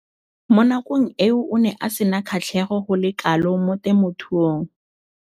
Mo nakong eo o ne a sena kgatlhego go le kalo mo temothuong.